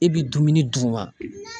E bi dumuni d'u ma.